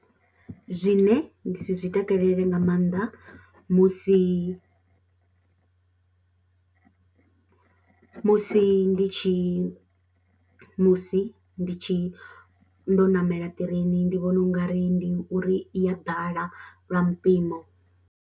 Zwine nda si zwi takalele nga maanḓa musi musi ndi tshi, musi ndi tshi ndo ṋamela ṱireini ndi vhona u nga ri ndi uri i ya ḓala lwa mupimo.